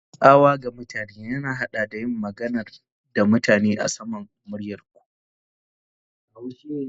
Tsawa ga mutane ya haɗa da yin magana da mutane a saman muryar ku.